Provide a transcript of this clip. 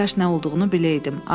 Kaş nə olduğunu biləydim.